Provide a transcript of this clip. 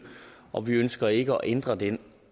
og vi ønsker ikke at ændre den